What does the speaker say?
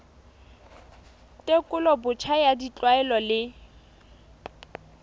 tekolo botjha ya ditlwaelo le